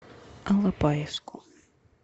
алапаевску